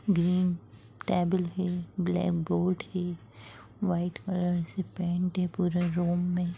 green table है blackboard है white colour से पेंट है पूरा रूम में